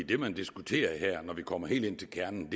det man diskuterer her når vi kommer helt ind til kernen er